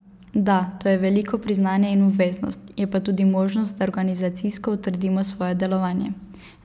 Da, to je veliko priznanje in obveznost, je pa tudi možnost, da organizacijsko utrdimo svoje delovanje.